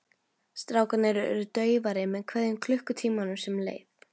Strákarnir urðu daufari með hverjum klukkutímanum sem leið.